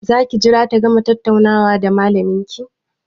Za ki jira ta gama tattaunawa da malamin ki?